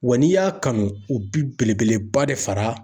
Wa n'i y'a kanu, u bɛ belebeleba de fara